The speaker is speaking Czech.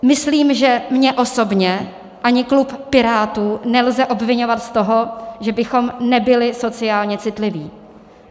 Myslím, že mě osobně ani klub Pirátů nelze obviňovat z toho, že bychom nebyli sociálně citliví.